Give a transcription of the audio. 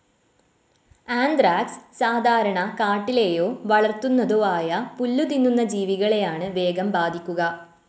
Anthrax സാധാരണ കാട്ടിലേയോ വളർത്തുന്നതോ ആയപുല്ലുതിന്നുന്ന ജീവികളെയാണു വേഗം ബാധിക്കുക.